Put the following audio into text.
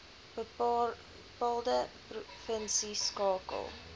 bepaalde provinsie skakel